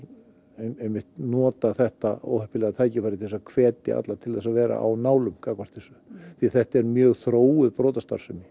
einmitt nota þetta óheppilega tækifæri til þess að hvetja alla til þess að vera á nálum gagnvart þessu því þetta er mjög þróuð brotastarfsemi